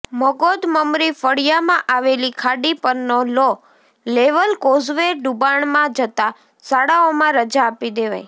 મગોદ મમરી ફળિયામાં આવેલી ખાડી પરનો લો લેવલ કોઝવે ડુબાણમાં જતા શાળાઓમાં રજા આપી દેવાઇ